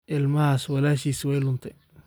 Ilmahaas walaashiis way luntay